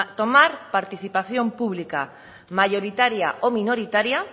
tomar participación pública mayoritaria o minoritaria